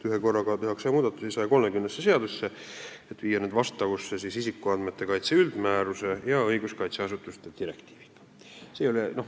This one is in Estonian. Ühekorraga tehakse muudatusi 130 seaduses, et viia need vastavusse isikuandmete kaitse üldmääruse ja õiguskaitseasutuste direktiiviga.